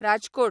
Rajkot